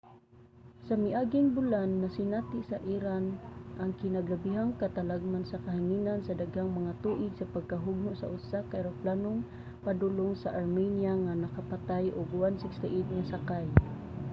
sa miaging bulan nasinati sa iran ang kinagrabehang katalagman sa kahanginan sa daghang mga tuig sa pagkahugno sa usa ka eroplanong padulong sa armenia nga nakapatay og 168 nga sakay